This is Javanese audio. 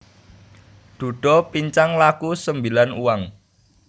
Dhudha pincang laku sembilan uang